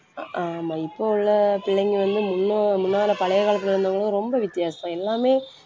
அஹ் ஆமா இப்ப உள்ள பிள்ளைங்க வந்து முன்ன முன்னால பழைய காலத்துல இருந்தவங்களும் ரொம்ப வித்தியாசம் எல்லாமே